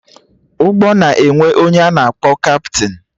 Ụgbọ na-enwe ọnye a na-akpọ kaptịn